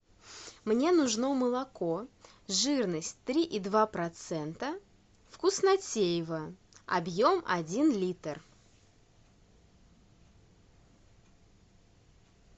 мне нужно молоко жирность три и два процента вкуснотеево объем один литр